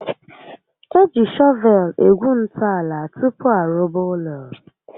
Eji shọvel egwu ntọala tupu arụba ụlọ